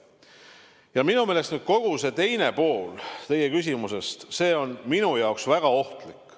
Ja nüüd kogu see teine pool teie küsimusest – see on minu jaoks väga ohtlik.